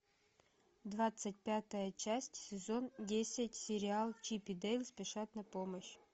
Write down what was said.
двадцать пятая часть сезон десять сериал чип и дейл спешат на помощь